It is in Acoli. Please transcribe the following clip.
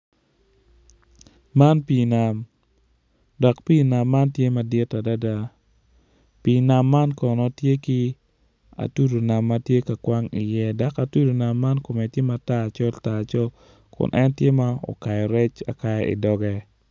Man pii nam dok pii nam man tye mdit adada pii nam man kono tye ki atudu nam man tye ka kwang iye dok atudu kome tye matar col tar col kun en tye ma okayo rec akaya idoge.